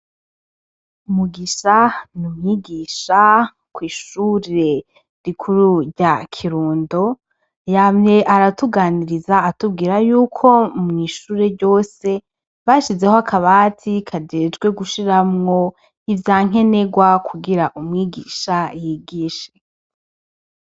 Mugisha ni umwigisha kw'ishure rikuru rya Kirundo. Yamye aratuganiriza atubwira yuko mw'ishure ryose bashizeho akabati kajejwe gushiramwo ivyankenerwa kugira umwigisha yigishe.